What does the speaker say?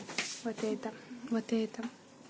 вот это вот это